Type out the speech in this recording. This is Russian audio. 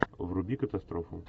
вруби катастрофу